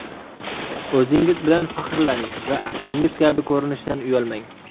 O‘zingiz bilan faxrlaning va aslingiz kabi ko‘rinishdan uyalmang!